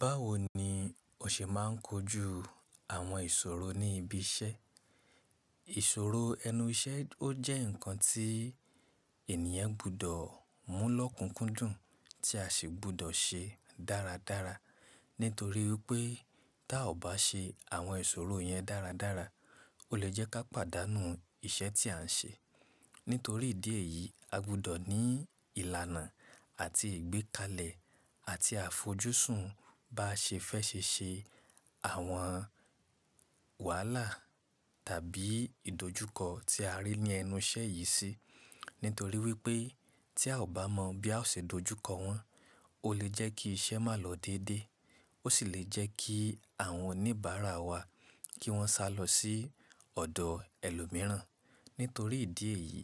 Báwo ni o ṣe máa ń kojú àwọn ìṣòro ní ibi iṣẹ́? Ìṣòro ẹnu iṣẹ́ ó jẹ́ ǹkan tí ènìyàn gbọ́dọ̀ mú lọ́kùnkúndùn tí a sì gbọ́dọ̀ ṣe dáradára, nítorí wipé tí a ò bá ṣe àwọn ìṣòro yẹn dáradára, ó lè jẹ́ ká pàdánù iṣẹ́ tí à ń ṣe. Nítorí ìdí èyí, a gbọ́dọ̀ ní ìlànà àti ìgbékalẹ̀ àti àfojúsùn bá ṣe fẹ́ ṣe ṣe àwọn wàhálà tàbí ìdojúkọ tí a rí ní ẹnu iṣẹ́ yìí sí. Nítorí wípé tí a ò bá mọ̀ bí a ó ṣe dojúkọ wọ́n, ó lè jẹ́ kí iṣẹ́ má lọ dédé, ó sì lè jẹ́ kí àwọn oníbàárà wa kí wọ́n sá lọ sí ọ̀dọ̀ ẹlòmíràn. Nítorí ìdí èyí,